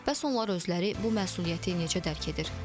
Bəs onlar özləri bu məsuliyyəti necə dərk edir?